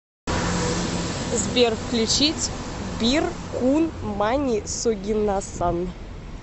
сбер включить бир кун мани согинасан